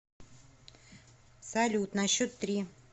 салют на счет три